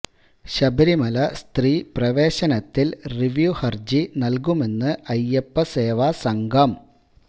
ശബരിമല സ്ത്രീ പ്രവേശനത്തിൽ റിവ്യു ഹർജി നൽകുമെന്ന് അയ്യപ്പ സേവ സംഘം